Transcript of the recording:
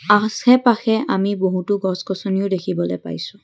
আছে পাশে আমি বহুতো গছ গছনিও দেখিবলৈ পাইছোঁ।